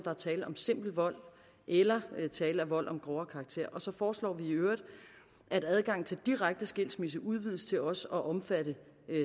er tale om simpel vold eller tale om vold af grovere karakter og så foreslår vi i øvrigt at adgangen til direkte skilsmisse udvides til også at omfatte